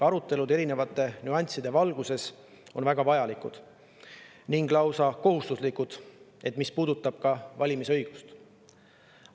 Arutelud erinevate nüansside valguses on väga vajalikud ning lausa kohustuslikud, see puudutab ka valimisõigust.